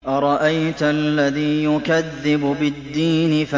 أَرَأَيْتَ الَّذِي يُكَذِّبُ بِالدِّينِ